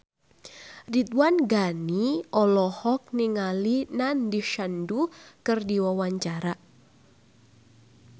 Ridwan Ghani olohok ningali Nandish Sandhu keur diwawancara